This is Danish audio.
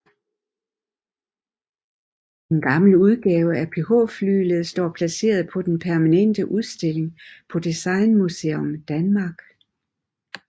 En gammel udgave af PH Flyglet står placeret på den permanente udstilling på Designmuseum Danmark